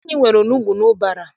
Anyị nwere onugbu n'ụbara.